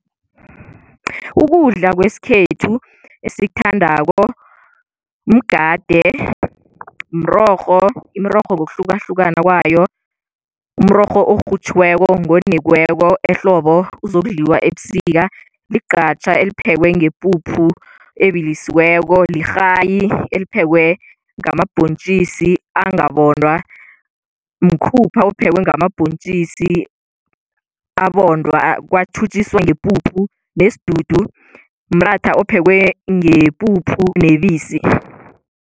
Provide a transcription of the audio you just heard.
Ukudla kwesikhethu esikuthandako mgade, mrorho, imirorho ngokuhlukahlukana kwayo, umrorho orhutjhiweko ngonekweko ehlobo uzokudliwa ebusika, igqatjha eliphekwe ngepuphu ebilisiweko, lirhayi eliphekwe namabhontjisi angabhondwa, mkhupha ophekwe ngamabhontjisi abondwa, kwathutjiswa ngepuphu nesidudu, mratha ophekwe ngepuphu nebisi.